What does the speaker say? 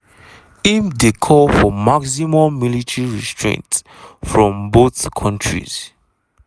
im dey call for maximum military restraint from both kontris.